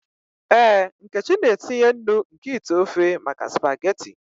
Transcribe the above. Ee, nkechi na-etinye nnu nke ite ofe maka spaghetị.